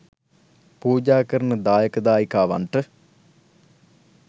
පූජා කරන දායක දායිකාවන්ට